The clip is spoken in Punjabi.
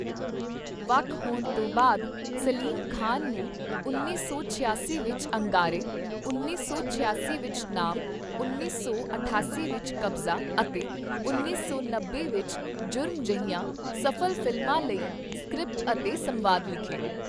ਵੱਖ ਹੋਣ ਤੋਂ ਬਾਅਦ ਸਲੀਮ ਖਾਨ ਨੇ ਉੱਨੀ ਸੌ ਛਿਆਸੀ ਵਿੱਚ 'ਅੰਗਾਰੇ', ਉੱਨੀ ਸੌ ਛਿਆਸੀ ਵਿੱਚ 'ਨਾਮ', ਉੱਨੀ ਸੌ ਅਠਾਸੀ ਵਿੱਚ 'ਕਬਜ਼ਾ' ਅਤੇ ਉੱਨੀ ਸੌ ਨੱਬੇ ਵਿੱਚ 'ਜੁਰਮ' ਜਿਹੀਆਂ ਸਫ਼ਲ ਫਿਲਮਾਂ ਲਈ ਸਕ੍ਰਿਪਟ ਅਤੇ ਸੰਵਾਦ ਲਿਖੇ।